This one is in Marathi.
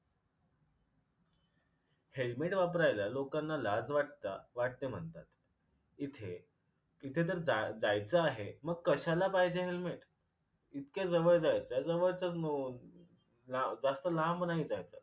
helmet वापरायला लोकांना लाज वाटता वाटते म्हणतात. इथे इथे तर जाय जायच आहे मग कशाला पाहिजे helmet? इतक्या जवळ जायचय जवळच नो ला जास्त लांब नाही जायचय.